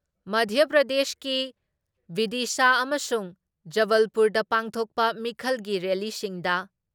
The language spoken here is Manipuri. ꯃꯙ꯭ꯌꯥ ꯄ꯭ꯔꯗꯦꯁꯀꯤ ꯕꯤꯗꯤꯁꯥ ꯑꯃꯁꯨꯡ ꯖꯕꯜꯄꯨꯔꯗ ꯄꯥꯡꯊꯣꯛꯄ ꯃꯤꯈꯜꯒꯤ ꯔꯦꯜꯂꯤꯁꯤꯡꯗ